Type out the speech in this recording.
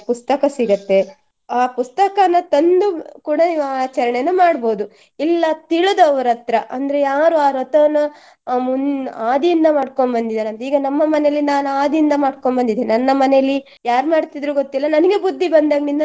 ಪುಸ್ತಕ ಸಿಗುತ್ತೆ ಆ ಪುಸ್ತಕನ ತಂದು ಕೂಡಾ ನೀವು ಆಚರಣೆಯನ್ನ ಮಾಡ್ಬೋದು ಇಲ್ಲ ತಿಳಿದವರ ಹತ್ರ ಅಂದ್ರೆ ಯಾರು ಆ ವ್ರತವನ್ನ ಆ ಮುನ್~ ಆದಿಯಿಂದ ಮಾಡ್ಕೊಂಡ್ ಬಂದಿದ್ದಾರೆ ಅಂದ್ರೆ ಈಗ ನಮ್ಮ ಮನೆಯಲ್ಲಿ ನಾನು ಆದಿಯಿಂದ ಮಾಡ್ಕೊಂಡ್ ಬಂದಿದ್ದೀನಿ ನನ್ನ ಮನೆಯಲ್ಲಿ ಯಾರ್ ಮಾಡ್ತಿದ್ರೋ ಗೊತ್ತಿಲ್ಲ ನನಗೆ ಬುದ್ಧಿ ಬಂದಂಗ್ಳಿಂದ.